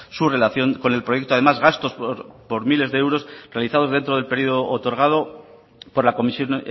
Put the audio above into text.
su relación con el proyecto además gastos por miles de euros realizados dentro del periodo otorgado por la comisión